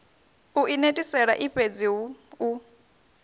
u inetisela ifhedzi hu u